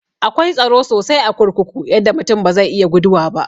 Akwai tsaro sosai a kurkuku yadda mutum ba zai iya guduwa ba.